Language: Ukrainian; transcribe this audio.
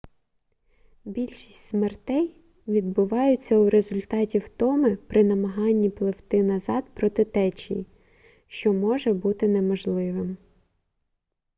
більшість смертей відбуваються у результаті втоми при намаганні пливти назад проти течії що може бути неможливим